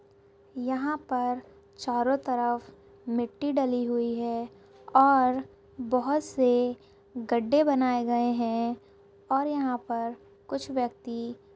यहाँ पर चारो तरफ मिटटी डाली हुई है और बोहोत से गद्दे बनाये गए है और यहाँ पर कुछ व्यक्ति।